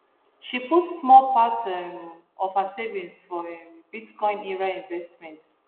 she put small part um of her savings for um bitcoin ira investment